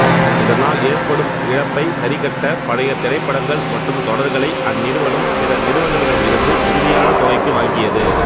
இதனால் ஏற்படும் இழப்பை சரிக்கட்ட பழைய திரைப்படங்கள் மற்றும் தொடர்களை அந்நிறுவனம் பிற நிறுவனங்களிடம் இருந்து மிகுதியான தொகைக்கு வாங்கியது